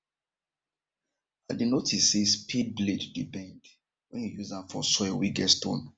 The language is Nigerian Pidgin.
i dey notice say spade blade dey bend wen you use am for soil wen get stones